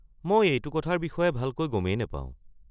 মই এইটো কথাৰ বিষয়ে ভালকৈ গমেই নাপাওঁ।